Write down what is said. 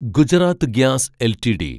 Gujarat gas LTD